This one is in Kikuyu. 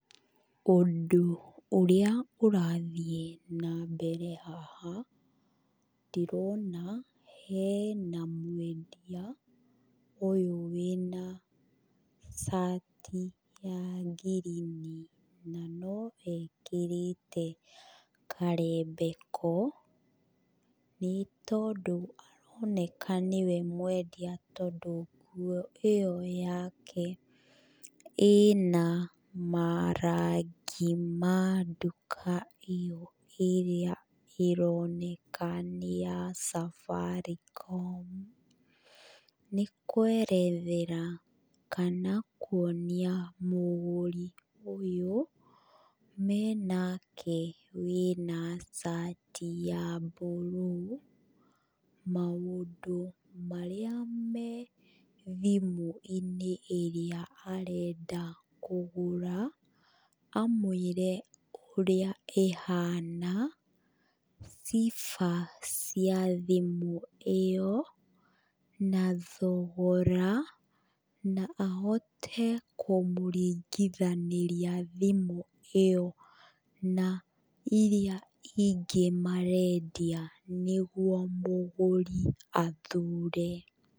Ũndũ ũrĩa ũrathiĩ na mbere haha, ndĩrona hena mwendia ũyũ wĩna cati ya ngirini na no ekĩrĩte karembeko. Nĩ tondũ aroneka nĩwe mwendia tondũ nguo ĩyo yake ĩna marangi ma nduka ĩyo ĩrĩa ĩroneka nĩ ya Safaricom. Nĩ kwerethera kana kuonia mũgũri ũyũ menake wĩna cati ya mburuu, maũndũ marĩa me thimũ-inĩ ĩrĩa arenda kũgũra. Amũĩre ũrĩa ĩhana, sifa cia thimũ ĩyo, na thogora, na ahote kũmũringithanĩria thimũ ĩyo na irĩa ingĩ marendia nĩguo mũgũri athure.